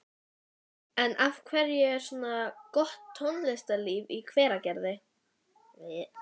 En af hverju er svona gott tónlistarlíf í Hveragerði?